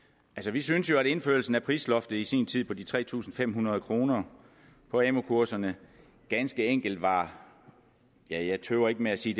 vi synes jo at indførelsen af prisloftet i sin tid på de tre tusind fem hundrede kroner på amu kurserne ganske enkelt var ja jeg tøver ikke med at sige